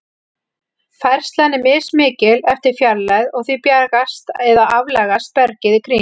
Færslan er mismikil eftir fjarlægð, og því bjagast eða aflagast bergið í kring.